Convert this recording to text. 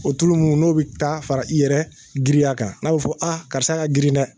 O tulolu minnu n'olu bɛ taa fara i yɛrɛ giriya kan, n'u fɔ a, karisa ka girin dɛ!